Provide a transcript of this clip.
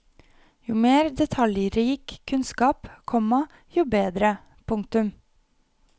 Jo mer detaljrik kunnskap, komma jo bedre. punktum